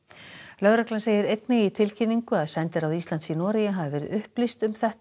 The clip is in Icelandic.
lögreglan segir einnig í tilkynningu að sendiráð Íslands í Noregi hafi verið upplýst um þetta